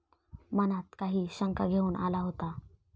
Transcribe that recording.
मनात काही शंका घेऊन आला होता.